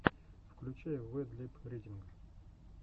включай вэд лип ридинг